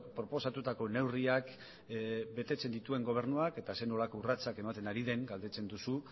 proposatutako neurriak betetzen dituen gobernuak eta zer nolako urratsak ematen ari den galdetzen duzu